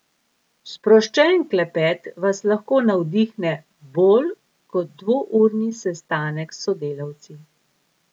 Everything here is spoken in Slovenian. Sproščen klepet vas lahko navdihne bolj kot dvourni sestanek s sodelavci.